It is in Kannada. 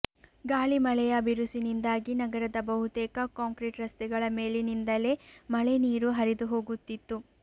ಗಾಳಿ ಮಳೆಯ ಬಿರುಸಿನಿಂದಾಗಿ ನಗರದ ಬಹುತೇಕ ಕಾಂಕ್ರೀಟ್ ರಸ್ತೆಗಳ ಮೇಲಿನಿಂದಲೇ ಮಳೆ ನೀರು ಹರಿದುಹೋಗುತ್ತಿತ್ತು